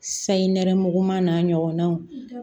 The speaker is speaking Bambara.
Sayi nɛrɛmuguma n'a ɲɔgɔnnaw